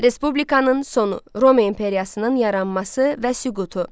Respublikanın sonu, Roma imperiyasının yaranması və süqutu.